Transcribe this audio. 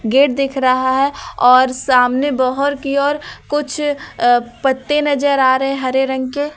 Gate दिख रहा हैं और सामने बाहर की ओर कुछ पत्ते नजर आ रहे हैं हरे रंग के।